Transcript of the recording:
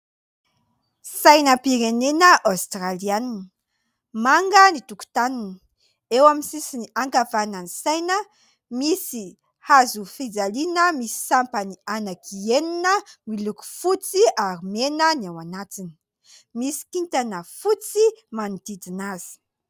Sainam-pirenena aostralianina. Manga ny tokotaniny. Eo amin'ny sisiny ankavan'ny saina misy hazofijaliana misy sampany anaky enina miloko fotsy ary mena ny ao anatiny. Misy kintana fotsy manodidina azy.